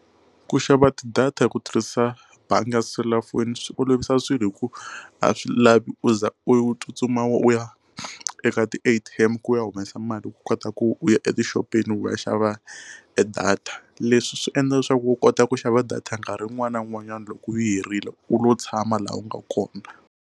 Ku xava tidata ku tirhisa bangi ya selulafoni swi olovisa swilo hi ku a swi lavi u za u tsutsuma u ya eka ti A_T_M ku ya humesa mali loko u kota ku u ya etixopeni wu va ya xava e data leswi swi endla leswaku u kota ku xava data nkarhi un'wana na un'wanyana loko u yi herile u lo tshama laha u nga kona.